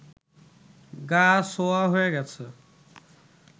গা-সওয়া হয়ে গেছে